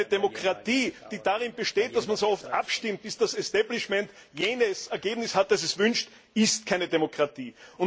Eine Demokratie, die darin besteht, dass man so oft abstimmt, bis das Establishment jenes Ergebnis hat, das es wünscht, ist keine Demokratie.